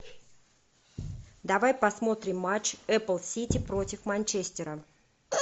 давай посмотрим матч апл сити против манчестера